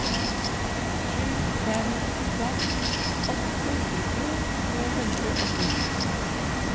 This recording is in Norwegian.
sju fem fem åtte tjuetre to hundre og sju